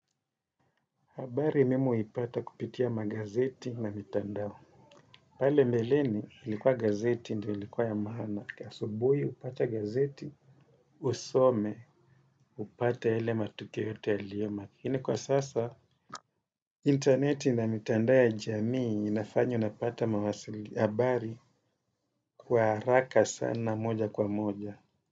Habari mimi huipata kupitia magazeti na mitandao. Pale mbeleni ilikuwa gazeti ndio ilikuwa ya maana. Asubuhi upate gazeti, usome upate yale matukio yote yaliomo. Lakini kwa sasa interneti ina mitandao ya jamii inafanya unapata mawasili habari kwa haraka sana moja kwa moja.